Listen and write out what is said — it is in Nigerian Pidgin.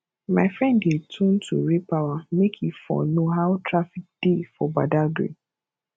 my friend dey tune to raypower make e for know how traffic dey for badagry